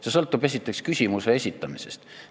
See sõltub, esiteks, küsimuse esitamisest.